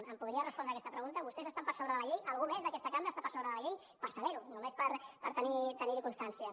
em podria respondre aquesta pregunta vostès estan per sobre de la llei algú més d’aquesta cambra està per sobre de la llei per saber ho només per tenir ne constància